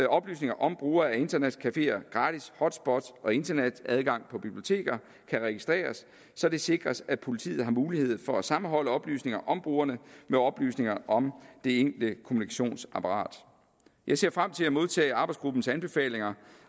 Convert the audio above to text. oplysninger om brugere af internetcafeer gratis hotspots og internetadgang på biblioteker kan registreres så det sikres at politiet har mulighed for at sammenholde oplysninger om brugerne med oplysninger om det enkelte kommunikationsapparat jeg ser frem til at modtage arbejdsgruppens anbefalinger